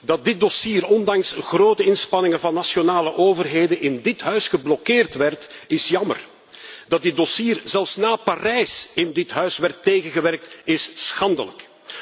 Dat dit dossier ondanks grote inspanningen van nationale overheden in dit huis geblokkeerd werd is jammer! Dat dit dossier zelfs na Parijs in dit huis werd tegengewerkt is schandelijk!